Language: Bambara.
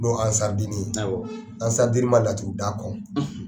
Dɔw ye ansari diini ye ansari diini man laturuda kɔn.